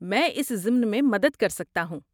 میں اس ضمن میں مدد کر سکتا ہوں۔